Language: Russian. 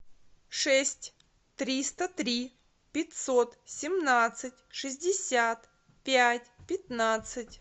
шесть триста три пятьсот семнадцать шестьдесят пять пятнадцать